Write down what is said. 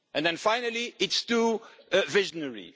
And then, finally, it is too visionary.